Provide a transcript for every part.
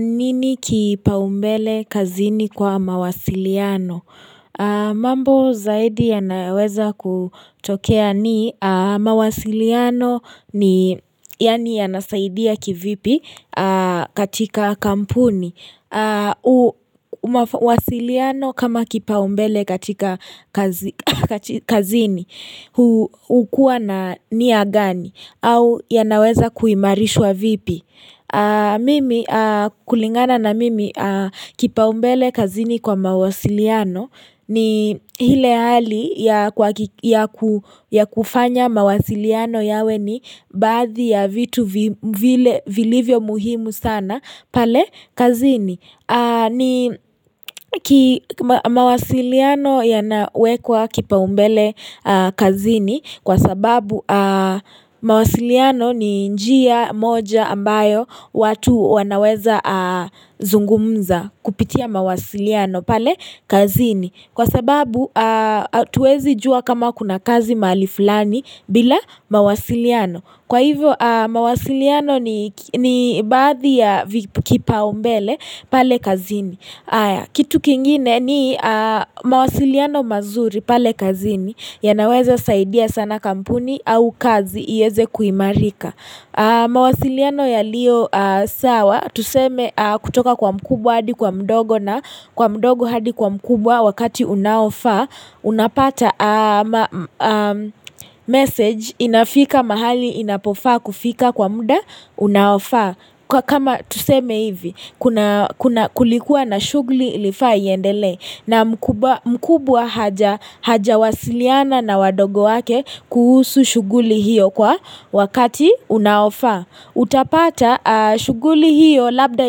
Nini kipaumbele kazini kwa mawasiliano? Mambo zaidi yanaweza kutokea ni mawasiliano ni yani yanasaidia kivipi katika kampuni. Mawasiliano kama kipaumbele katika kazini hukuwa na niyagani au yanaweza kuimarishwa vipi. Mimi kulingana na mimi kipaumbele kazini kwa mawasiliano ni hile hali ya kufanya mawasiliano yawe ni baadhi ya vitu vilivyo muhimu sana pale kazini ni mawasiliano yanawekwa kipa umbele kazini kwa sababu mawasiliano ni njia moja ambayo watu wanaweza zungumza kupitia mawasiliano pale kazini. Kwa sababu atuwezi jua kama kuna kazi maali fulani bila mawasiliano. Kwa hivyo mawasiliano ni baadhi ya kipa umbele pale kazini. Kitu kingine ni mawasiliano mazuri pale kazini yanaweza saidia sana kampuni au kazi iyeze kuimarika. Mawasiliano yalio sawa tuseme kutoka kwa mkubwa hadi kwa mdogo na kwa mdogo hadi kwa mkubwa wakati unaofaa Unapata message inafika mahali inapofaa kufika kwa muda unaofaa Kwa kama tuseme hivi kuna kulikuwa na shuguli ilifai iyendele na mkubwa hajawasiliana na wadogo wake kuhusu shuguli hiyo kwa wakati unaofaa Utapata shuguli hiyo labda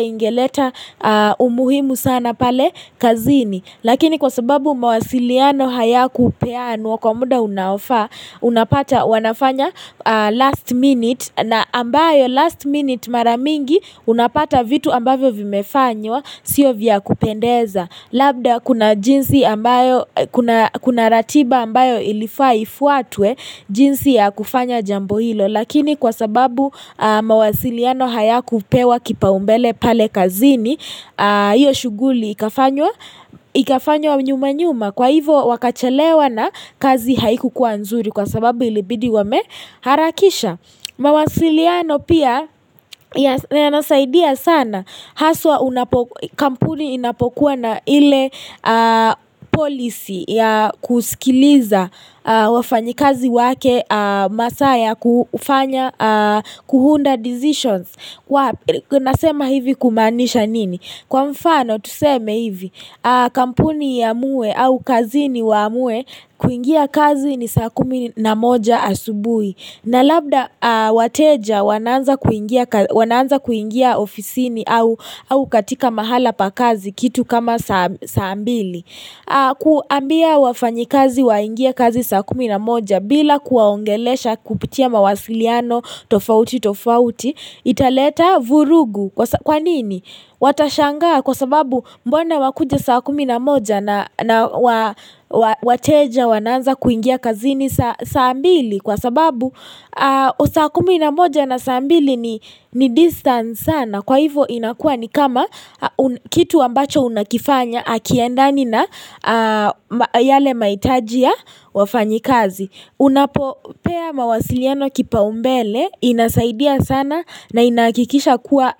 ingeleta umuhimu sana pale kazini Lakini kwa sababu mawasiliano hayakupeanwa kwa muda unapata wanafanya last minute na ambayo last minute mara mingi unapata vitu ambavyo vimefanywa sio vya kupendeza. Labda kuna jinsi ambayo kuna ratiba ambayo ilifaa ifuatwe jinsi ya kufanya jambo hilo Lakini kwa sababu mawasiliano hayakupewa kipa umbele pale kazini Iyo shuguli ikafanywa nyuma nyuma kwa hivo wakachelewa na kazi haikukuwa nzuri kwa sababu ilibidi wame harakisha mawasiliano pia yanasaidia sana haswa kampuni inapokuwa na ile policy ya kusikiliza wafanyikazi wake masaa ya kufanya kuunda decisions. Kwa nasema hivi kumaanisha nini? Kwa mfano tuseme hivi kampuni iamuwe au kazini waamuwe kuingia kazi ni saa kumi na moja asubui. Na labda wateja wanaanza kuingia ofisini au katika mahala pa kazi kitu kama saa mbili kuambia wafanyikazi waingie kazi saa kumi na moja bila kuwaongelesha kupitia mawasiliano tofauti tofauti Italeta vurugu kwa nini Watashangaa kwa sababu mbona wakuje saa kumi na moja na wateja wanaanza kuingia kazini saa mbili Kwa sababu saa kumi na moja na saa mbili ni distance sana Kwa hivyo inakua ni kama kitu ambacho unakifanya Akiendani na yale maitajia wafanyi kazi Unapopea mawasiliano kipa umbele inasaidia sana na inahakikisha kuwa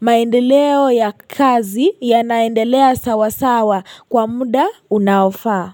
maendeleo ya kazi yanaendelea sawasawa kwa muda unaofaa.